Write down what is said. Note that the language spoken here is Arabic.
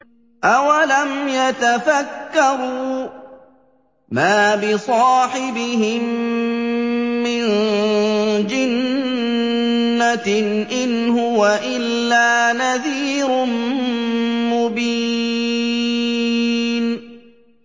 أَوَلَمْ يَتَفَكَّرُوا ۗ مَا بِصَاحِبِهِم مِّن جِنَّةٍ ۚ إِنْ هُوَ إِلَّا نَذِيرٌ مُّبِينٌ